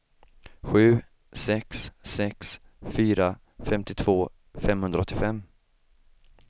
sju sex sex fyra femtiotvå femhundraåttiofem